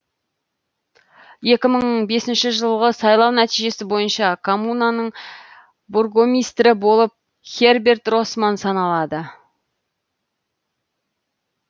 екі мың бесінші жылғы сайлау нәтижесі бойынша коммунаның бургомистрі болып херберт росман саналады